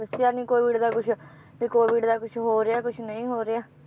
ਦੱਸਿਆ ਨੀ COVID ਦਾ ਕੁਛ ਵੀ COVID ਦਾ ਕੁਛ ਹੋ ਰਿਆ ਕੁਛ ਨਹੀਂ ਹੋ ਰਿਆ